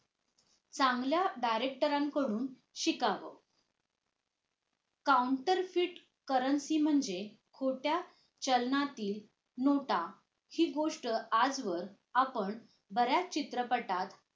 चांगल्या director रांकडून शिकावं counterfeit currency म्हणजे खोट्या चलनातील नोटा हि गोष्ट आजवर आपण बऱ्याच चित्रपटात